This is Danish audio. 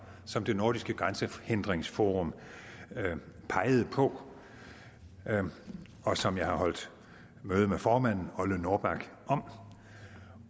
som det nordiske grænsehindringsforum pegede på og som jeg har holdt møde med formanden ole norbak om